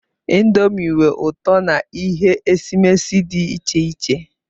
Ịndomii nwe ụtọ na ihe esimesi dị iche iche.